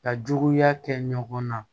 Ka juguya kɛ ɲɔgɔn na